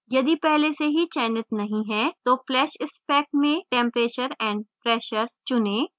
यदि पहले से चयनित नहीं है तो flash spec में temperature and pressure tp चुनें